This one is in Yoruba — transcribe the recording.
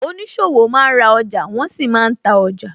Oníṣòwò máa ń ra ọjà, wọn sì máa ń ta ọjà